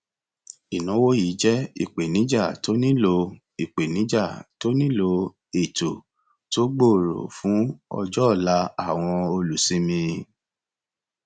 ìnáwó yìí jẹ ìpènijà tó nílò ìpènijà tó nílò ètò tó gbòòrò fún ọjọ ọla àwọn olùsinmi